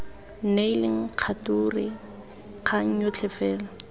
neileng kgature kgang yotlhe fela